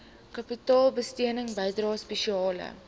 kapitaalbesteding bydrae spesiale